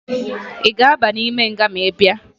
Ị ga-aba n'ime nga ma ị bịa?